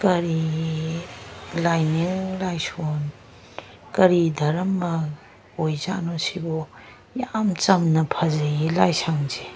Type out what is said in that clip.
ꯀꯔꯤ ꯂꯥꯏꯅꯤꯡ ꯂꯥꯏꯁꯣꯟ ꯀꯔꯤ ꯗ꯭ꯔꯃꯥ ꯑꯣꯏꯖꯠꯅꯣ ꯁꯤꯕꯣ ꯌꯥꯝ ꯆꯥꯝꯅ ꯐꯖꯩꯌꯦ ꯂꯥꯢꯁꯪꯁꯦ꯫